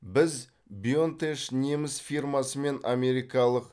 біз бионтеш неміс фирмасы мен америкалық